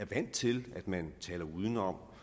vant til at man taler udenom